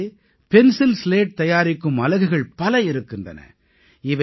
இங்கே pencil slate தயாரிக்கும் அலகுகள் பல இருக்கின்றன